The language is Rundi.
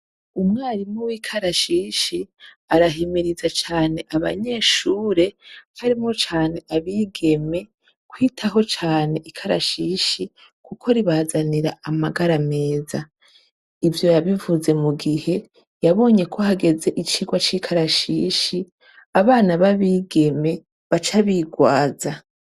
Umwarimu w'ikarashishi arahimiriza cane abanyeshure harimwo cane abigeme kwitaho cane ikarashishi, kuko ribazanira amagara meza ivyo yabivuze mu gihe yabonye ko hageze icirwa c'ikarashishi abana babi igeme baca birwaza.